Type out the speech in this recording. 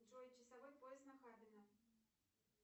джой часовой пояс нахабино